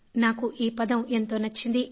నాకు ఈ పదం ఎంతో నచ్చింది